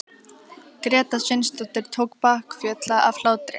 Gréta Sveinsdóttir tók bakföll af hlátri.